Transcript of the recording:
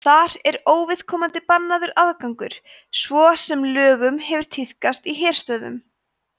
þar er óviðkomandi bannaður aðgangur svo sem löngum hefur tíðkast í herstöðvum